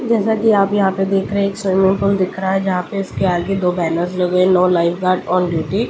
जैसा कि आप यहाँ पर देख रहे हैं एक शोरूम दिख रहा है जहाँ पे उसके आगे बैलून्स लगे हुए हैं no lifeguard on duty.